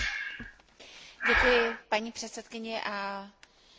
Vážená paní komisařko, k vám budu směřovat svoji řeč.